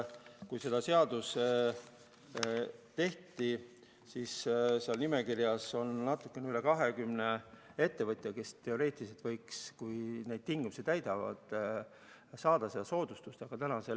Kui seda seadust tehti, siis seal nimekirjas oli natuke üle 20 ettevõtja, kes teoreetiliselt võiks, kui nad neid tingimusi täidavad, seda soodustust saada.